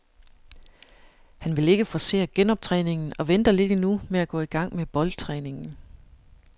Han vil ikke forcere genoptræningen og venter lidt endnu med at gå i gang med boldtræningen.